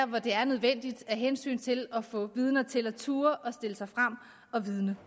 hvor det er nødvendigt af hensyn til at få vidner til at turde stille sig frem og vidne